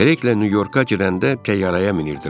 Kreyqlə Nyu-Yorka gedəndə təyyarəyə minirdilər.